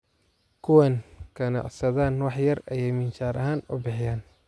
Kuwan kanacsadhan wax yar ayay minshar axan ubixiyan .